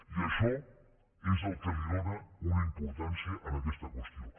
i això és el que li dóna una importància en aquesta qüestió